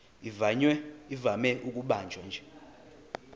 ivame ukubanjwa nje